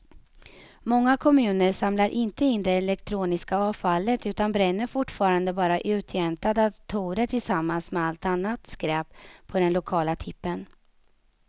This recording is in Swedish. Många kommuner samlar inte in det elektroniska avfallet utan bränner fortfarande bara uttjänta datorer tillsammans med allt annat skräp på den lokala tippen.